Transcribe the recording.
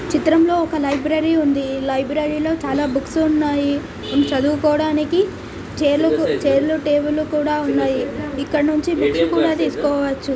చిత్రం లో ఒక లైబ్రరీ ఉంది ఈ లైబ్రరీ లో చాలా బుక్స్ ఉన్నాయి చదువుకోడానికి ఛైర్లు టేబుల్స్ కూడా ఉన్నాయి ఇక్కడ నుంచి బుక్స్ కూడా తీస్కోవచ్చు .